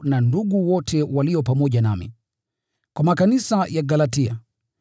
na ndugu wote walio pamoja nami: Kwa makanisa ya Galatia: